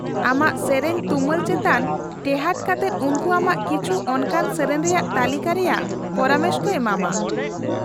-ᱟᱢᱟᱜ ᱥᱮᱹᱨᱮᱹᱧ ᱛᱩᱢᱟᱹᱞ ᱪᱮᱛᱟᱱ ᱴᱮᱦᱟᱸᱴ ᱠᱟᱛᱮᱫ ᱩᱱᱠᱩ ᱟᱢᱟᱜ ᱠᱤᱪᱷᱩ ᱚᱱᱠᱟᱱ ᱥᱮᱹᱨᱮᱹᱧ ᱨᱮᱭᱟᱜ ᱛᱟᱹᱞᱤᱠᱟ ᱨᱮᱭᱟᱜ ᱯᱚᱨᱟᱢᱮᱥ ᱠᱚ ᱮᱢᱟᱢᱟ ᱾